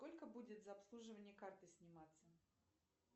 сколько будет за обслуживание карты сниматься